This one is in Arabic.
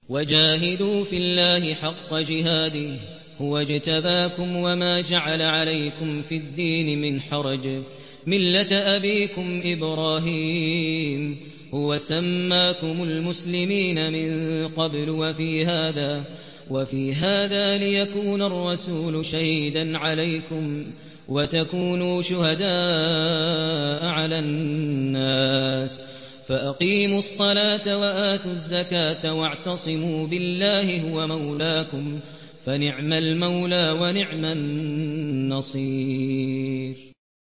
وَجَاهِدُوا فِي اللَّهِ حَقَّ جِهَادِهِ ۚ هُوَ اجْتَبَاكُمْ وَمَا جَعَلَ عَلَيْكُمْ فِي الدِّينِ مِنْ حَرَجٍ ۚ مِّلَّةَ أَبِيكُمْ إِبْرَاهِيمَ ۚ هُوَ سَمَّاكُمُ الْمُسْلِمِينَ مِن قَبْلُ وَفِي هَٰذَا لِيَكُونَ الرَّسُولُ شَهِيدًا عَلَيْكُمْ وَتَكُونُوا شُهَدَاءَ عَلَى النَّاسِ ۚ فَأَقِيمُوا الصَّلَاةَ وَآتُوا الزَّكَاةَ وَاعْتَصِمُوا بِاللَّهِ هُوَ مَوْلَاكُمْ ۖ فَنِعْمَ الْمَوْلَىٰ وَنِعْمَ النَّصِيرُ